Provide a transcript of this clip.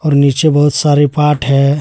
नीचे बहुत सारे पार्ट है।